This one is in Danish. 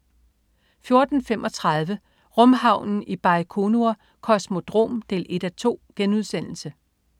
14.35 Rumhavnen i Bajkonur Kosmodrom 1:2*